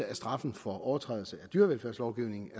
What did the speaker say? af straffen for overtrædelse af dyrevelfærdslovgivningen